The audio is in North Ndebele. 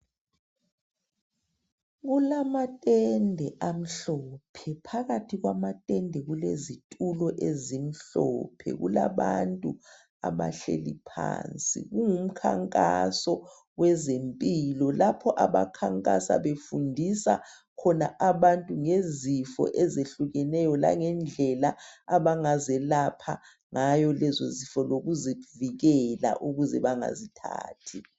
kulatende amhlophe phakathi kwamatende kulezitulo ezimhlophe kulabantu abahleli phansi kungumkhankaso wezempilo lapho abakhankasa befundisa khona abantu ngezifo ezehlukeneyo langendlela abangazelapha ngayo lezo zifo lokuzivikela ukuze bangazithathi